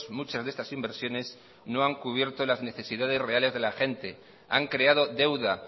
muchas de estas inversiones no han cubierto las necesidades reales de la gente han creado deuda